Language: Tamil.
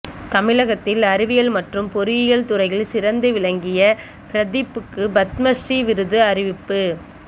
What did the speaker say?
தமிழகத்தில் அறிவியல் மற்றும் பொறியியல் துறையில் சிறந்து விளங்கிய பிரதீப்புக்கு பத்மஸ்ரீ விருது அறிவிப்பு